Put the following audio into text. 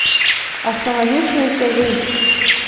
остановившаяся жизнь